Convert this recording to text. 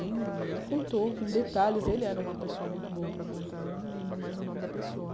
Ele contou com detalhes, ele era uma pessoa muito boa para contar, eu nem lembro mais o nome da pessoa.